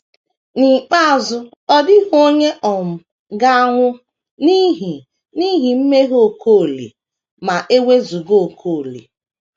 N’ikpeazụ, ọ dịghị onye um ga - anwụ n’ihi n’ihi mmehie Okolie ma e wezụga Okolie!